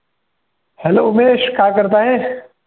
Hello Umesh काय करत आहेस?